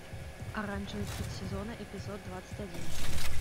оранжевый хит сезона эпизод двадцать один